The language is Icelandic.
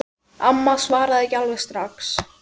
Amma svaraði ekki alveg strax.